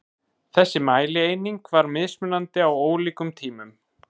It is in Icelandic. Þessi mælieining var mismunandi á ólíkum tímum.